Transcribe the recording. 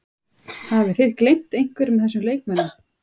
Hafið þið gleymt einhverjum af þessum leikmönnum?